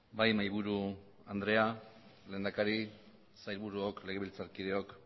bai mahaiburu andrea lehendakari sailburuok legebiltzarkideok